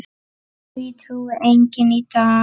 Því trúir enginn í dag.